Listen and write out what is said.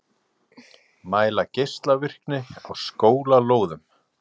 Mæla geislavirkni á skólalóðum